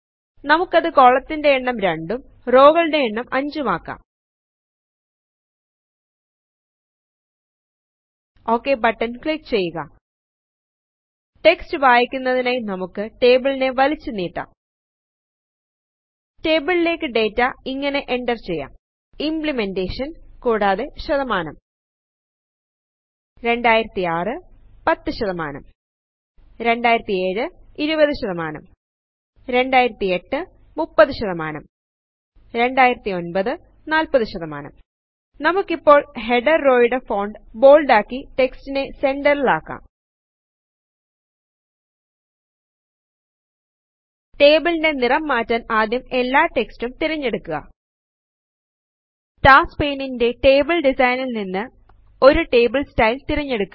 നമുക്കത് കൊളത്തിന്റെ എണ്ണം 2 ഉം റോകളുടെ എണ്ണം 5 ഉം ആക്കാം ഒക് ബട്ടൺ ക്ലിക്ക് ചെയ്യുക ടെക്സ്റ്റ് വായിക്കുന്നതിനായി നമുക്ക് ടേബിളിനെ വലിച്ചു നീട്ടാം റ്റെബിലിലെക് ഡാറ്റ ഇങ്ങനെ എന്റർ ചെയ്യാം ഇമ്പ്ലിമെന്റെഷൻ കൂടാതെ 160 2006 10 2007 20 2008 30 2009 40 നമുക്കിപ്പോൾ ഹെടെർ റോയുടെ ഫോണ്ട് ബോള്ഡ് ആക്കി റ്റെക്സ്റ്റിനെ സെന്റെൽ ആക്കാം ടേബിൾ ന്റെ നിറം മാറ്റാൻ ആദ്യം എല്ലാ ടെക്സ്റ്റും തിരഞ്ഞെടുക്കുക ടാസ്ക് പെയ്നിൽ ന്റെ ടേബിൾ ഡിസൈൻ നിന്ന് ഒരു ടേബിൾ സ്റ്റൈൽ തിരഞ്ഞെടുക്കുക